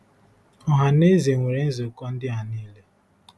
Ọha na eze nwere nzukọ ndị a niile.